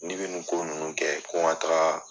N'i bɛ nin ko nunnu kɛ ko n taga